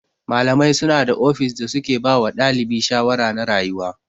Malamai suna da ofis da suke bawa ɗalibi shawara na rayuwa.